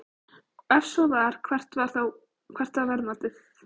Ef svo var, hvert var það verðmat?